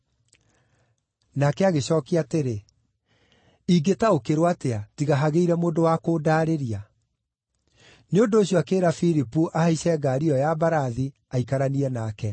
Nake agĩcookia atĩrĩ, “Ingĩtaũkĩrwo atĩa, tiga hagĩire mũndũ wa kũndaarĩria?” Nĩ ũndũ ũcio akĩĩra Filipu ahaice ngaari ĩyo ya mbarathi, aikaranie nake.